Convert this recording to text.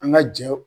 An ka jɛ